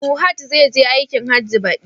Fuhad zai je aikin Hajji, baɗi